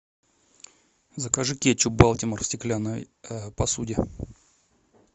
закажи кетчуп балтимор в стеклянной посуде